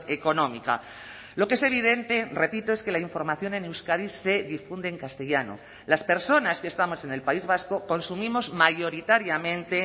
económica lo que es evidente repito es que la información en euskadi se difunde en castellano las personas que estamos en el país vasco consumimos mayoritariamente